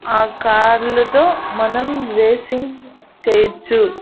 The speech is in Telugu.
ఆ కార్లు లు తో మనం రేసింగ్ చేయొచ్చు.